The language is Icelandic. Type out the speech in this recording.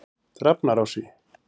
Drafnarási